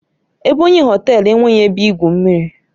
Ebonyi Họtelu enweghị ebe igwu mmiri